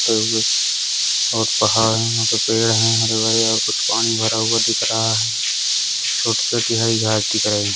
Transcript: और पहाड़ है। वहाँ पे पेड़ हैं। हरे भरे कुछ पानी भरा हुआ दिख रहा है। छोटी-छोटी हरी घास दिख रही है।